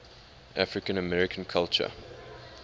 african american culture